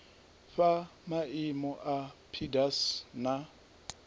fhaa maimo a pdas na